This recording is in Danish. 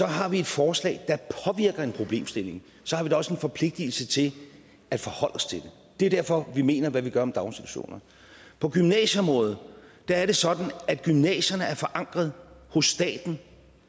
har vi et forslag der påvirker en problemstilling så har vi da også en forpligtelse til at forholde os til den det er derfor vi mener hvad vi gør om daginstitutioner på gymnasieområdet er det sådan at gymnasierne er forankret hos staten